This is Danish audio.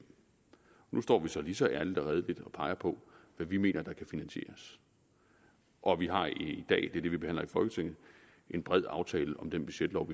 nu står vi så lige så ærligt og redeligt og peger på hvad vi mener kan finansieres og vi har i dag det er det vi behandler i folketinget en bred aftale om den budgetlov